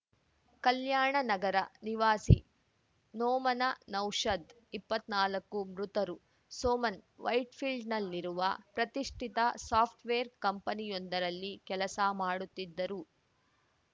ಕಲ್ಯಾಣನಗರ ನಿವಾಸಿ ನೋಮನ ನೌಷಾದ್‌ ಇಪ್ಪತ್ನಾಲ್ಕು ಮೃತರು ಸೋಮನ್‌ ವೈಟ್‌ಫೀಲ್ಡ್‌ನಲ್ಲಿರುವ ಪ್ರತಿಷ್ಠಿತ ಸಾಫ್ಟ್‌ವೇರ್‌ ಕಂಪನಿಯೊಂದರಲ್ಲಿ ಕೆಲಸ ಮಾಡುತ್ತಿದ್ದರು